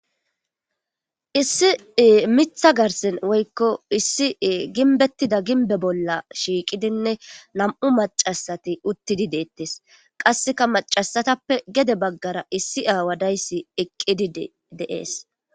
Issi miththa garsan woykko gimbe garsan shiqidinne namu machasati uttidi detes. Qaseka macasatappe gede bagara issi awa dizays eqidi des